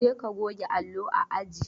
Je ka goge allo a aji!